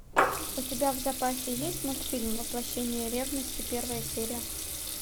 у тебя в запасе есть мультфильм воплощение ревности первая серия